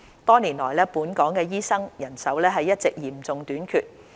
多年來，本港醫生人手一直嚴重短缺。